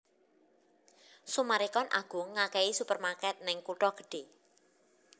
Summarecon Agung ngakehi supermarket ning kuto gedhe